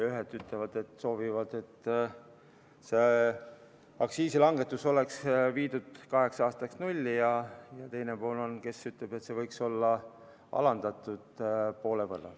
Ühed ütlevad, et soovivad, et aktsiisilangetus oleks viidud kaheks aastaks nulli, ja teine pool ütleb, et see võiks olla alandatud poole võrra.